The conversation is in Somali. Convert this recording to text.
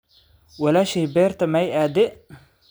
walaashey beerta ma cadeey?